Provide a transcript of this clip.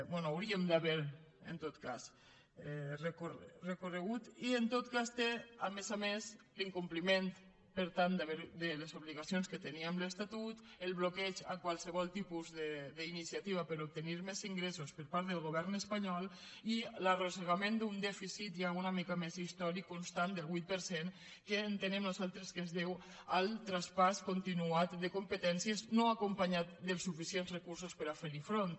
bé hauríem d’haver en tot cas recorregut i en tot cas té a més a més l’incompliment per tant de les obligacions que tenia amb l’estatut el bloqueig a qualsevol tipus d’iniciativa per a obtenir més ingressos per part del govern espanyol i l’arrossegament d’un dèficit ja una mica més històric constant del vuit per cent que entenem nosaltres que es deu al traspàs continuat de competències no acompanyat dels suficients recursos per a fer hi front